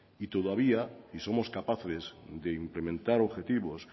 y todavía si somos capaces de implementar objetivos